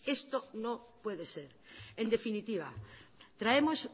esto no puede ser en definitiva traemos